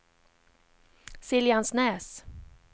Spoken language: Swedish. Siljansnäs